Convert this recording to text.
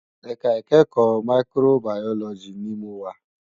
Èká ikèékò máìkróbàyólòjí ni mó wá